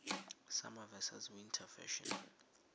summer versus winter fashion